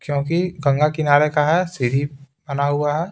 क्योंकि गंगा किनारे का है सीढी बना हुआ है।